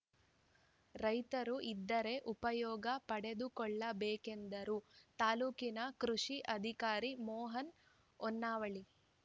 ರೈತರು ಇದರ ಉಪಯೋಗ ಪಡೆದುಕೊಳ್ಳಬೇಕೆಂದರು ತಾಲೂಕಿನ ಕೃಷಿ ಅಧಿಕಾರಿ ಮೋಹನ್‌ ಹೊನ್ನವಳ್ಳಿ